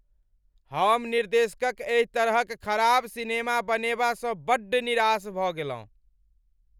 हम निर्देशकक एहि तरहक खराब सिनेमा बनेबासँ बड्ड निराश भऽ गेलहुँ।